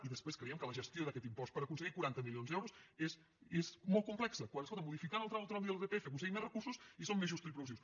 i després creiem que la gestió d’aquest impost per aconseguir quaranta milions d’euros és molt complexa quan escolta’m modificant el tram autonòmic de l’irpf aconseguim més recursos i són més justos i progressius